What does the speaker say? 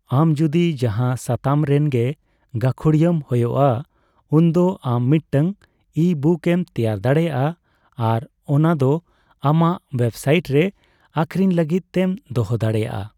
ᱟᱢ ᱡᱩᱫᱤ ᱡᱟᱦᱟᱸ ᱥᱟᱛᱟᱢ ᱨᱮᱱ ᱜᱮ ᱜᱟᱠᱷᱩᱲᱤᱭᱟᱹᱢ ᱦᱳᱭᱳᱜᱼᱟ, ᱩᱱᱫᱚ ᱟᱢ ᱢᱤᱫᱴᱟᱝ ᱤᱼᱵᱩᱠ ᱮᱢ ᱛᱮᱭᱟᱨ ᱫᱟᱲᱮᱭᱟᱜᱼᱟ ᱟᱨ ᱚᱱᱟ ᱫᱚ ᱟᱢᱟᱜ ᱚᱣᱮᱵᱽᱥᱟᱭᱤᱴ ᱨᱮ ᱟᱠᱷᱨᱤᱧ ᱞᱟᱹᱜᱤᱫ ᱛᱮᱢ ᱫᱚᱦᱚ ᱫᱟᱲᱮᱭᱟᱜᱼᱟ ᱾